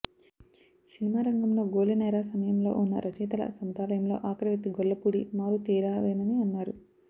cinema రంగంలో golden era సమయంలో ఉన్న రచయితల సముదాయంలో ఆఖరి వ్యక్తి గొల్లపూడి మారుతీరావేనని అన్నారు